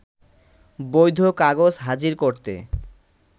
বৈধ কাগজ হাজির করতে